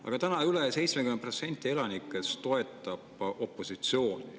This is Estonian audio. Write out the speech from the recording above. Aga täna üle 70% elanikest toetab opositsiooni.